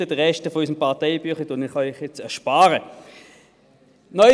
Der Rest unseres Parteibüchleins erspare ich Ihnen jetzt.